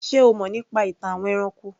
Ṣé o mọ̀ nípa ìtàn àwọn ẹranko?